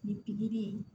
Nin pikiri in